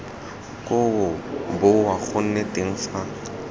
koo boa gone teng fa